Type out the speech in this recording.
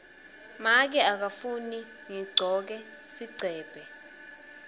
make akafuni ngigcoke sigcebhe